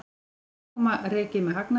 Magma rekið með hagnaði